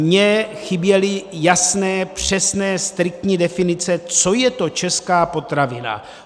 Mně chyběly jasné, přesné, striktní definice, co je to česká potravina.